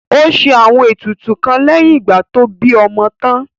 Ó ṣe àwọn ètùtù kan lẹ́yìn ìgbà tó bí ọmọ tán